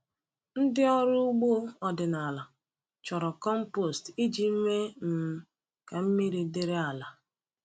Ndị ọrụ ugbo ọdịnala chọrọ compost iji mee um ka mmiri dịrị ala.